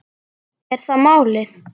Er það málið?